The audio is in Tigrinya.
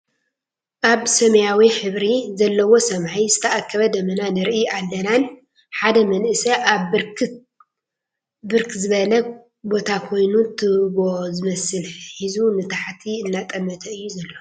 ኣብ ሰማያዊ ሕብሪ ዘለዎ ሰማይ ዝተኣከበ ደመና ንርኢ ኣለናን ሓደ መንእሰይ ኣብ ብርክ ዝበለ ቦታ ኮይኑ ትቦ ዝመስል ሒዙ ንታሕቲ ኣናጠመተ እዩ ዘሎ።